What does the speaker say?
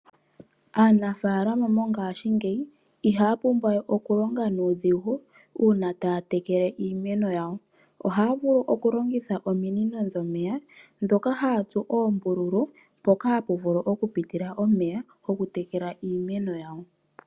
Aanafalama mongashingeyi ihaya pumbwa we okulonga nuudhigu uuna taya tekele iimeno yawo. Ohaya vulu okulongitha ominino dhomeya ndhoka haya tsu oombululu mpoka hapu vulu okupitila omeya okutekela iimeno yawo.